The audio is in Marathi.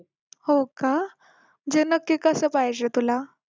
हो का म्हणजे नक्की कसं पाहिजे तुला